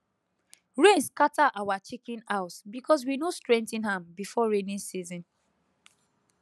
rain scatter our chicken house because we no strengthen am before rainy season